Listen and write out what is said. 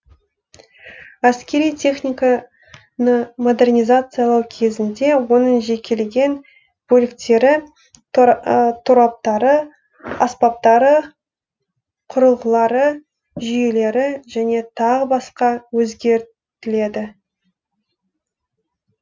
әскери техника ны модернизациялау кезінде оның жекелеген бөліктері тораптары аспаптары құрылғылары жүйелері және тағы басқа өзгер тіледі